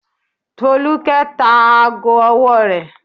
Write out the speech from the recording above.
Folúkẹ́ tá aago ọwọ́ rẹ̀.